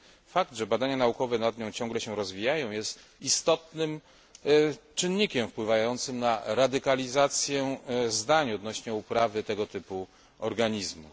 Fakt, że badania naukowe nad nią ciągle się rozwijają, jest istotnym czynnikiem wpływającym na radykalizację zdań odnośnie uprawy tego typu organizmów.